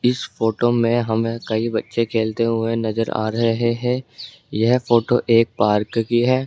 इस फोटो में हमें कई बच्चे खेलते हुए नजर आ रहे हैं यह फोटो एक पार्क की है।